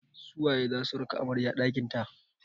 Su waye za su raka amarya ɗakin ta?